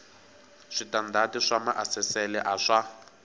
switandati swa maasesele a swa